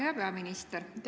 Hea peaminister!